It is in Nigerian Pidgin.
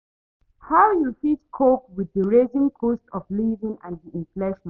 how you fit cope with di rising cost of living and di inflation?